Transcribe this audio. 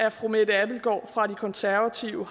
at fru mette abildgaard fra de konservative